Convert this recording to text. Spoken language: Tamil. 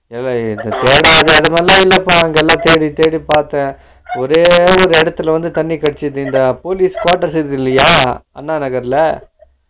தேடாத இடமெல்ல இல்லப்பா அங்கெல்லா தேடித்தேடி பாத்தே ஒரே ஒரே இடத்துலருந்து தண்ணி கிடச்சுது இந்த police quarters இருக்குதுல்லையா அண்ணா நகர்ல